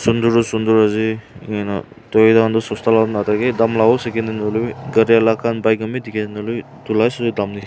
sundor tu sundor ase enka huina toyata khan toh sosta la natha kay daam la howo second hand huilebi gari alak khan bike khan bi dikhi ase nahoi lebi itu lahi sobseh daam--